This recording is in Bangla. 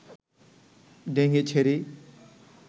ঢেঙ্গি ছেড়ি